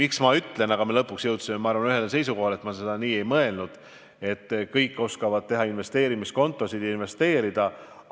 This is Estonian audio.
Aga ma usun, et lõpuks me jõudsime ühele seisukohale, et ma ei ole mõelnud, et kõik oskavad teha investeerimiskontosid ja investeerida.